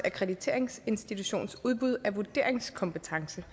akkrediteringsinstitutions udbud af vurderingskompetence